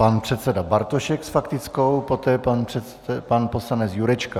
Pan předseda Bartošek s faktickou, poté pan poslanec Jurečka.